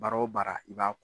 Baara o baara i b'a